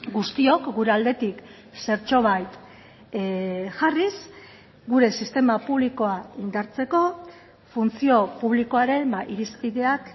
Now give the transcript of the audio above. guztiok gure aldetik zertxobait jarriz gure sistema publikoa indartzeko funtzio publikoaren irizpideak